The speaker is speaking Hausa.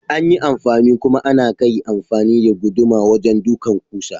Anyi anfani kuma anakai amfani da guduma wajen ɗukan kusa.